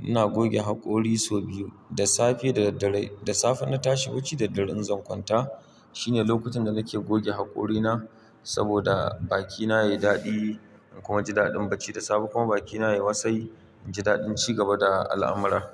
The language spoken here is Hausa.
Ina goge haƙori sau biyu, da safe da dare. Da safe na tashi bacci da dare in zan kwanta. Shine lokacin da nake goge haƙorina saboda bakina yayi daɗi kuma ji daɗin bacci da safe kuma bakina yayi wasai, inji daɗin ci gaba da al'amura.